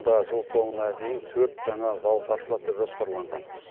мұнда жыл соңына дейін төрт жаңа зауыт ашылады деп жоспарланған